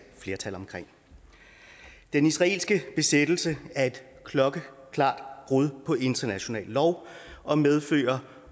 flertal for den israelske besættelse er et klokkeklart brud på international lov og medfører